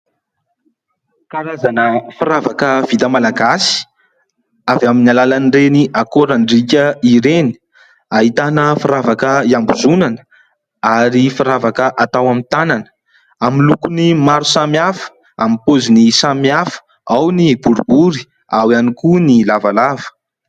Karazana firavaka vita malagasy avy amin'ny alalan'ireny akorandriaka ireny. Ahitana firavaka iambozonana ary firavaka atao amin'ny tanana amin'ny lokony samihafa, "pôziny" samihafa ao ny boribory ao ihany koa ny lavalava.